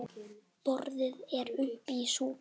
Boðið er uppá súpu.